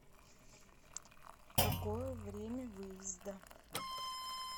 какое время выезда